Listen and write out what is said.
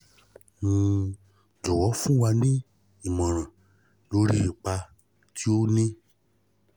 um jọ̀wọ́ fún wa ní ìmọ̀ràn lórí ipa tí ó ní